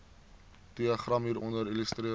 diagram hieronder illustreer